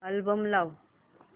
album लाव